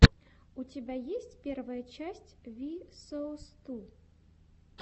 у тебя есть первая часть ви соус ту